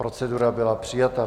Procedura byla přijata.